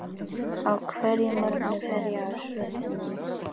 Á hverjum morgni fer ég á söfnin.